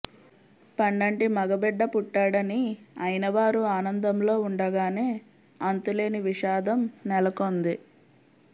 పండంటి మగబిడ్డ పుట్టాడని అయినవారు ఆనందంలో ఉండగానే అంతులేని విషాదం నెలకొంది